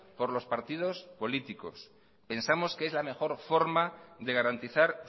por los partidos políticos pensamos que es la mejor forma de garantizar